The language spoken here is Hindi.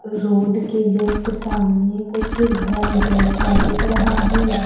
रोड के जस्ट सामने कुछ घर जैसा दिख रहा है।